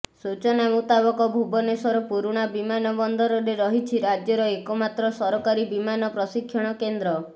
ସୂଚନା ମୁତାବକ ଭୁବନେଶ୍ୱର ପୁରୂଣା ବିମାନ ବନ୍ଦରରେ ରହିଛି ରାଜ୍ୟର ଏକମାତ୍ର ସରକାରୀ ବିମାନ ପ୍ରଶିକ୍ଷଣ କେନ୍ଦ୍ର